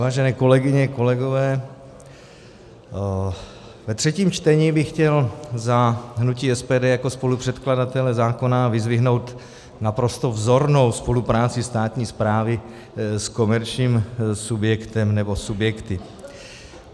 Vážené kolegyně, kolegové, ve třetím čtení bych chtěl za hnutí SPD jako spolupředkladatelé zákona vyzdvihnout naprostou vzornou spolupráci státní správy s komerčním subjektem nebo subjekty.